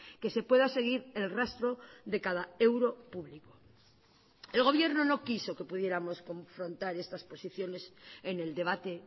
que se pueda seguir el rastro de cada euro público el gobierno no quiso que pudiéramos confrontar estas posiciones en el debate